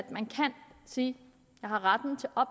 man kan sige jeg har ret